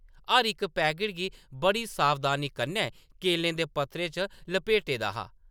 हर इक पैकट गी बड़ी सावधानी कन्नै केलें दे पत्तरें च लपेटे दा हा ।